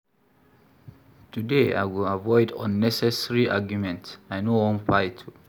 Today, I go avoid unnecessary argument, I no wan fight.